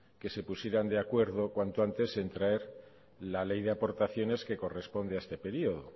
que se pusieran de acuerdo cuanto antes en traer la ley de aportaciones que corresponde a este periodo